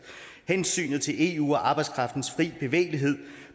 hensynet til eu og arbejdskraftens fri bevægelighed